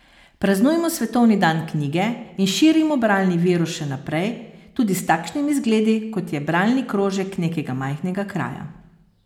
Praznujmo svetovni dan knjige in širimo bralni virus še naprej, tudi s takšnimi zgledi, kot je bralni krožek nekega majhnega kraja.